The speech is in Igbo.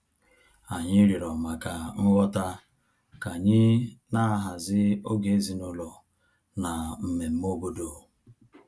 Anyị rịọrọ maka nghọta ka anyị na-ahazi oge ezinụlọ na mmemme obodo